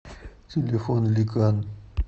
телефон ликан